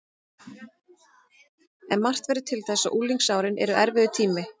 En margt verður til þess að unglingsárin eru erfiður tími.